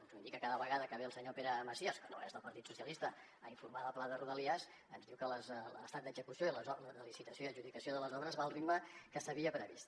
ens ho indica cada vegada que ve el senyor pere macias que no és del partit socialista a informar del pla de rodalies ens diu que l’estat d’execució i les obres de licitació i adjudicació de les obres van al ritme que s’havia previst